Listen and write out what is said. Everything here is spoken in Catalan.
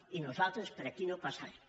i nosaltres per aquí no passarem